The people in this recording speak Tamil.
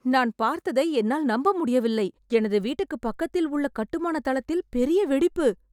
நான் பார்த்ததை என்னால் நம்ப முடியவில்லை. எனது வீட்டுக்குப் பக்கத்தில் உள்ள கட்டுமான தளத்தில் பெரிய வெடிப்பு!